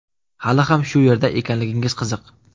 Hali ham shu yerda ekanligingiz qiziq.